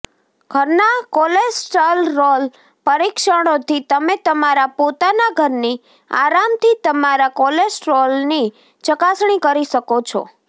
ઘરના કોલેસ્ટરોલ પરીક્ષણોથી તમે તમારા પોતાના ઘરની આરામથી તમારા કોલેસ્ટ્રોલની ચકાસણી કરી શકો છો